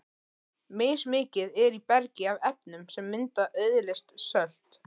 Mismikið er í bergi af efnum sem mynda auðleyst sölt.